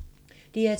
DR2